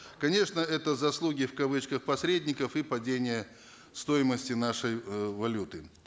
конечно это заслуги в кавычках посредников и падение стоимости нашей э валюты